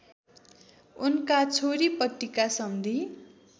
उनका छोरीपट्टिका सम्धी